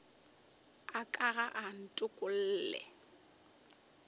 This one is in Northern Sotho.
a ka ga a ntokolle